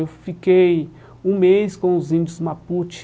Eu fiquei um mês com os índios Mapute,